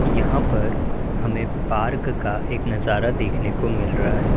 यहां पर हमें पार्क का एक नजारा देखने को मिल रहा है।